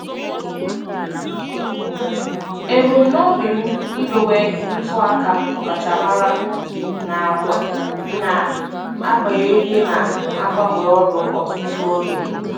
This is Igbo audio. Ebumnobi m idowe ntụaka ọkachamara n'agbanyeghị na-agbanwe ọrụ ọtụtụ oge.